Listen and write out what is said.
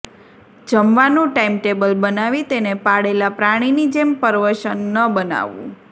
જમવાનું ટાઈમટેબલ બનાવી તેને પાળેલાં પ્રાણીની જેમ પરવશ ન બનાવવું